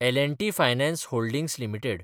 L & T finance holdings limited